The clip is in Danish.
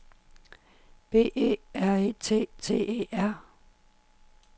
B E R E T T E R